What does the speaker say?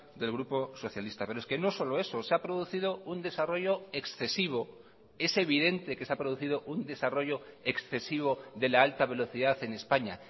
del grupo socialista pero es que no solo eso se ha producido un desarrollo excesivo es evidente que se ha producido un desarrollo excesivo de la alta velocidad en españa